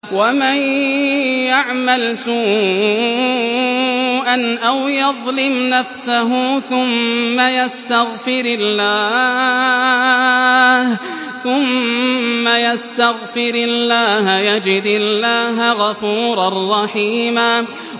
وَمَن يَعْمَلْ سُوءًا أَوْ يَظْلِمْ نَفْسَهُ ثُمَّ يَسْتَغْفِرِ اللَّهَ يَجِدِ اللَّهَ غَفُورًا رَّحِيمًا